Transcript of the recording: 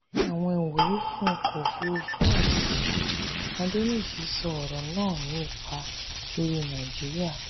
àwọn ìwúrí fún ọkọ̀ òfúrufú àjèjì; adeniji sọ ọ̀rọ̀ náà ní ipa lórí nàìjíríà.